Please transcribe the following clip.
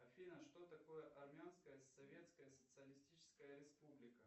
афина что такое армянская советская социалистическая республика